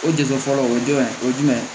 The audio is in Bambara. O degu fɔlɔ o jumɛn o jumɛn